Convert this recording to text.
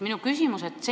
Minu küsimus on selline.